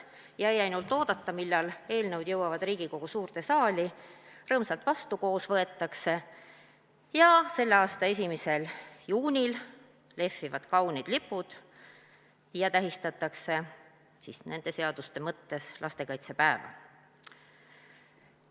Jäi ainult oodata, millal eelnõud jõuavad Riigikogu suurde saali ja rõõmsalt vastu koos võetakse ning selle aasta 1. juunil lehvivad kaunid lipud ja tähistatakse nende seaduste mõttes lastekaitsepäeva.